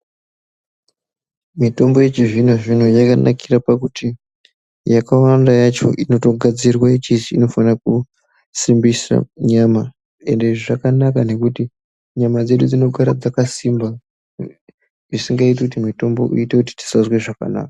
Mitombo yechizvino-zvino yakanakira pakuti, yakawanda yacho inotogadzirwa ichizi inofane kusimbisa nyama .Ende izvi zvakanaka ngekuti, nyama dzedu dzinogara dzakasimba zvisingaiti kuti mitombo iite kuti tisazwe zvakanaka.